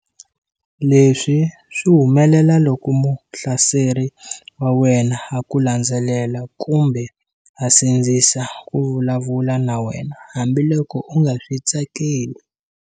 Leswi swi humelela loko muhlaseri wa wena a ku landzelela kumbe a sindzisa ku vulavula na wena hambiloko u nga swi tsakeli.